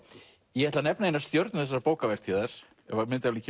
ég ætla að nefna eina stjörnu þessarar bókavertíðar ef myndavélin